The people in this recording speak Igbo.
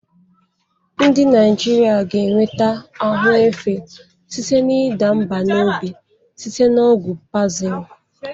Ndị Naijiria ga-enweta ahụ efe site na ịda mbà n'obi site na ọgwụ Pazil.